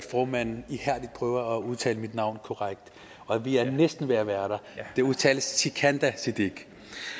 at formanden ihærdigt prøver at udtale min navn korrekt og vi er næsten ved at være der det udtales sikandar siddique